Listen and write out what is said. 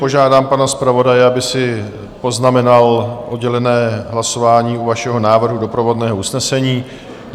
Požádám pana zpravodaje, aby si poznamenal oddělené hlasování u vašeho návrhu doprovodného usnesení.